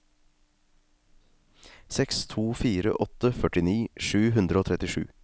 seks to fire åtte førtini sju hundre og trettisju